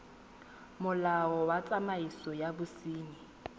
molao wa tsamaiso ya bosenyi